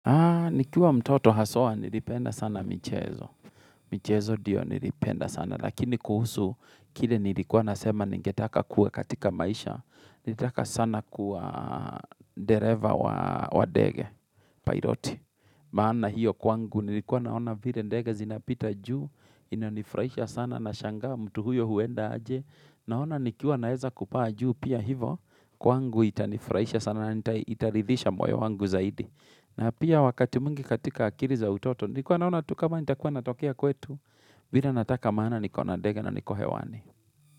Nikiwa mtoto haswa nilipenda sana michezo, michezo ndio nilipenda sana, lakini kuhusu kile nilikuwa nasema ningetaka kuwe katika maisha, nitaka sana kuwa dereva wa dege, pairoti, maana hiyo kwangu nilikuwa naona vile ndege zinapita juu, inonifurahaisha sana nashangaa mtu huyo huenda aje, naona nikiwa naeza kupaa juu pia hivo, kwangu itanifurahaisha sana na itaridhisha moyo wangu zaidi. Na pia wakati mwingi katika akiri za utoto, nikuwa naona tu kama nitakuwa natokea kwetu, vile nataka maana niko ndega na niko hewani.